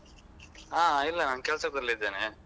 ಹಾ ಇಲ್ಲ ನಾನ್ ಕೆಲ್ಸದಲ್ಲಿದ್ದೇನೆ.